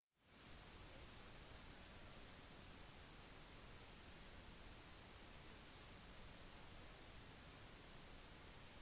all blacks hadde allerede vunnet troféen for to uker siden og dette var deres siste kamp